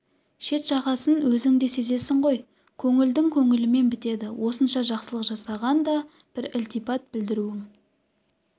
шет-жағасын өзің де сезесің ғой көңілдің көңілімен бітеді осынша жақсылық жасаған да бір ілтипат білдіруің